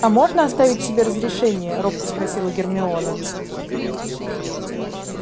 а можно оставить себе разрешение робко спросила гермиона